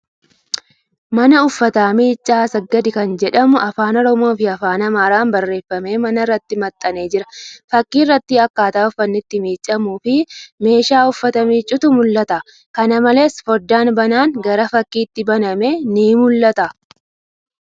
Mana uffata miiccaa Assagid kan jedhu Afaan Oromoofi Afaan Amaaraan barreefamee mana irratti maxxanee jira. Fakkii irratti akkaataa uffanni itti miiccamuufi meeshaa uffata miiccutu mul'ata. Kana malees, fooddaan banaan gara fakkiitti baname ni mul'ata.